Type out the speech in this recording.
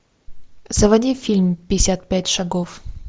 заводи фильм пятьдесят пять шагов